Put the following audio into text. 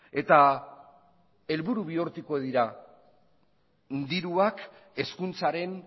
eta helburu bihurtuko dira diruak hezkuntzaren